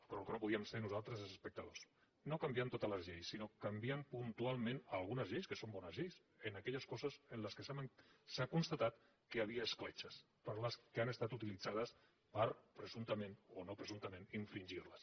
però el que no podíem ser nosaltres és espectadors no canviant totes les lleis sinó canviant puntualment algunes lleis que són bones lleis en aquelles coses en què s’ha constatat que hi havia escletxes que han estat utilitzades per presumptament o no presumptament infringir les